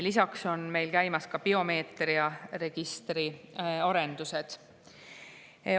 Lisaks on meil käimas biomeetriaregistri arendused.